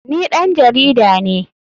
Ni ɗan jarida ne.